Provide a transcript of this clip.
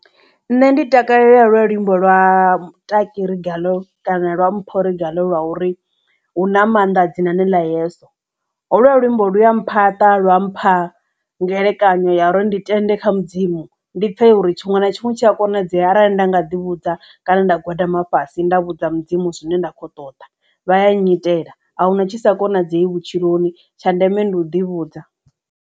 Nṋe ndi takalela holuya luambo lwa Taki Regalo kana lwa Mpho Regalo lwa uri hu na maanḓa dzinani ḽa yeso ho lwo luimbo lu ya mphaṱa lwa mpha ngelekanyo ya uri ndi tende kha mudzimu ndi pfesesa uri tshiṅwe na tshiṅwe tshi a konadzea arali nda nga ḓi vhudza kana nda gwadama fhasi nda vhudza mudzimu zwine nda kho ṱoḓa vha ya nyitela ahuna tshisa konadzei vhutshiloni tsha ndeme ndi u ḓi vhudza.